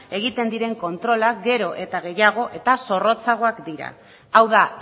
egiten diren kontrolak gero eta gehiago eta zorrotzagoak dira hau da